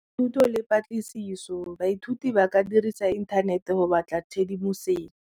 Thuto le patlisiso baithuti ba ka dirisa inthanete go batla tshedimosetso.